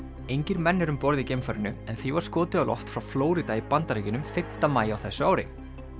engir menn eru um borð í geimfarinu en því var skotið á loft frá Flórída í Bandaríkjunum fimm maí á þessu ári